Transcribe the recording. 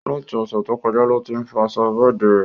Láti Òsẹ̀ to kọjá lo tí fọ aṣọ bẹ́ẹ̀di rẹ̀